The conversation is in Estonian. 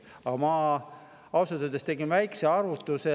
Aga ma ausalt öeldes tegin väikse arvutuse.